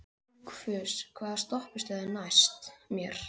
Dugfús, hvaða stoppistöð er næst mér?